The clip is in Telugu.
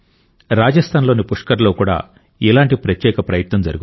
రాజస్థాన్లోని పుష్కర్లో కూడా ఇలాంటి ప్రత్యేక ప్రయత్నం జరుగుతోంది